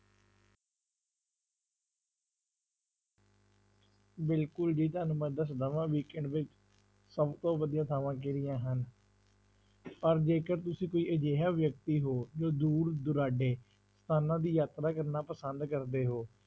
ਬਿਲਕੁਲ ਜੀ ਤੁਹਾਨੂੰ ਮੈਂ ਦੱਸਦਾਂ ਹਾਂ weekend ਵਿਚ ਸਭ ਤੋਂ ਵਧੀਆ ਥਾਵਾਂ ਕਿਹੜੀਆਂ ਹਨ ਪਰ ਜੇਕਰ ਤੁਸੀਂ ਕੋਈ ਅਜਿਹਾ ਵਿਅਕਤੀ ਹੋ, ਜੋ ਦੂਰ ਦੁਰਾਡੇ ਸਥਾਨਾਂ ਦੀ ਯਾਤਰਾ ਕਰਨਾ ਪਸੰਦ ਕਰਦੇ ਹੋ,